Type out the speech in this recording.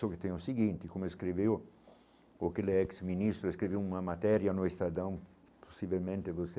Só que tem o seguinte, como escreveu porque ele é ex-ministro, escreveu uma matéria no Estadão, possivelmente você,